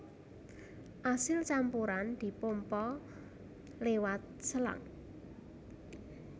Asil campuran dipompa liwat selang